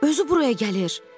Özü buraya gəlir.